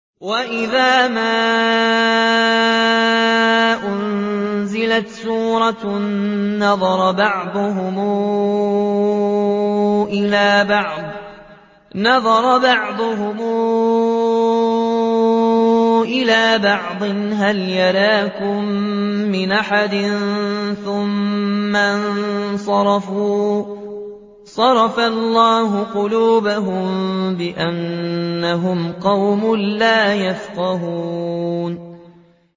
وَإِذَا مَا أُنزِلَتْ سُورَةٌ نَّظَرَ بَعْضُهُمْ إِلَىٰ بَعْضٍ هَلْ يَرَاكُم مِّنْ أَحَدٍ ثُمَّ انصَرَفُوا ۚ صَرَفَ اللَّهُ قُلُوبَهُم بِأَنَّهُمْ قَوْمٌ لَّا يَفْقَهُونَ